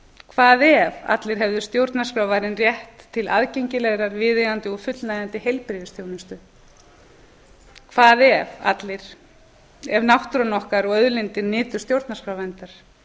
hvað ef allir hefðu stjórnarskrárvarinn rétt til aðgengilegrar viðeigandi og fullnægjandi heilbrigðisþjónustu hvað ef náttúran okkar og auðlindir nytu stjórnarskrárverndar